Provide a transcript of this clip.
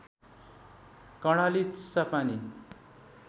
Karnali Chisapani